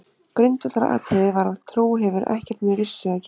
Grundvallaratriðið var að trú hefur ekkert með vissu að gera.